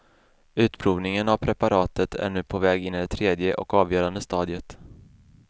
Utprovningen av preparatet är nu på väg in i det tredje och avgörande stadiet.